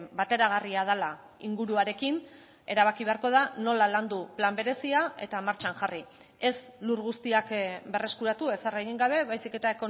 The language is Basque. bateragarria dela inguruarekin erabaki beharko da nola landu plan berezia eta martxan jarri ez lur guztiak berreskuratu ezer egin gabe baizik eta